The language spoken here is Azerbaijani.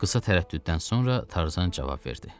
Qısa tərəddüddən sonra Tarzan cavab verdi.